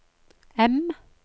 M